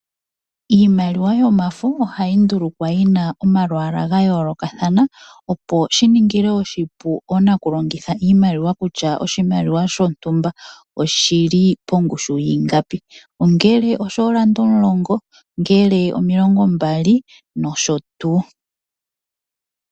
Iimaliwa yomafo ohayi ndulukwa yina omalwaala ga yoolokathana opo shiningile oshipu oonakulongitha iimaliwa kutya oshimaliwa shontumba oshili pongushu yiingapi ongele oshoolanda omulongo, omilongombali noshowo tuu.